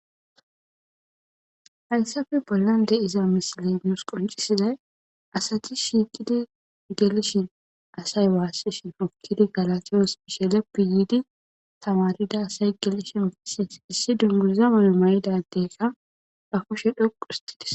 Hayissappe bollanni de'iza missileyi nusi qonccisizayi asati shiqqiddi gelishin asayi wasishin uttiddi gaalatos gishshe leppi giddi tamarida asayi gelishen issi dunguza adde mayo mayida ba kushe dhoqqu otti des